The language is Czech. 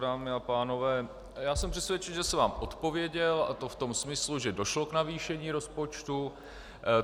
Dámy a pánové, já jsem přesvědčený, že jsem vám odpověděl, a to v tom smyslu, že došlo k navýšení rozpočtu.